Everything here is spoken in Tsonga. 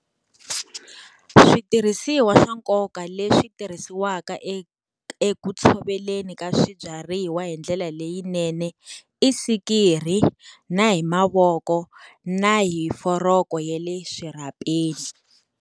Switirhisiwa swa nkoka leswi tirhisiwaka eku tshoveleni ka swibyariwa hi ndlela leyinene, i sikiri na hi mavoko na hi foroko ya le swirhapeni.